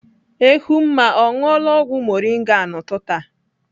Ehumma ọ ṅụọla ọgwụ moringa a n'ụtụtụ a?